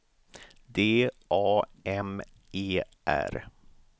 D A M E R